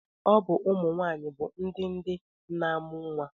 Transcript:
Ọ bụkwa ụmụnwaanyị bụ ndị ndị na-amụ nnwa